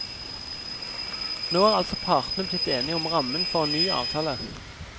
Nå er altså partene blitt enige om rammen for en ny avtale.